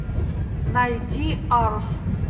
найди арсс